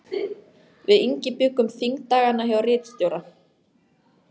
Við Ingi bjuggum þingdagana hjá ritstjóra